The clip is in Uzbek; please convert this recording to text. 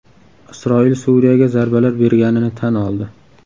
Isroil Suriyaga zarbalar berganini tan oldi.